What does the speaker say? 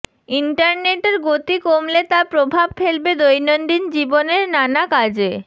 ইন্টারনেটের গতি কমলে তা প্রভাব ফেলবে দৈনন্দিন জীবনের নানা কাজে